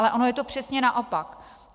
Ale ono je to přesně naopak.